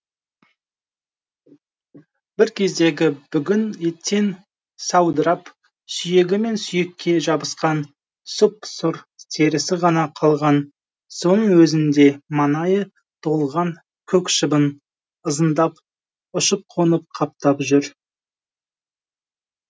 бір кездегі бүгін еттен саудырап сүйегі мен сүйекке жабысқан сұп сұр терісі ғана қалған соның өзінде маңайы толған көк шыбын ызыңдап ұшып қонып қаптап жүр